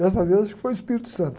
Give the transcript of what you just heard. Dessa vez, acho que foi o Espírito Santo.